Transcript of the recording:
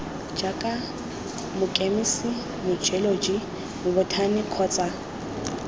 jaaka mokemise mojeoloji mobothani kgotsa